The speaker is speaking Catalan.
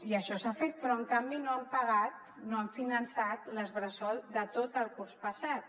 i això s’ha fet però en canvi no han pagat no han finançat les bressol de tot el curs passat